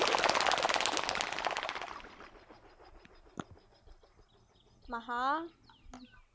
மகா